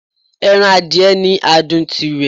Ẹran adìẹ ni adùn tirè